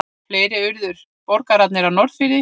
Fleiri urðu borgarar á Norðfirði.